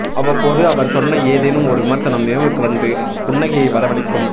அவ்வப்போது அவர் சொன்ன ஏதேனும் ஒரு விமர்சனம் நினைவுக்கு வந்து புன்னகையை வரவழைக்கும்